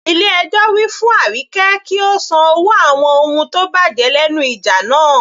Ilé ẹjọ́ wí fún Arike kí ó san owó àwọn ohun tó bàjẹ́ lẹ́nu ìjà náà.